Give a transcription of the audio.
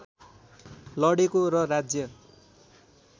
लडेको र राज्य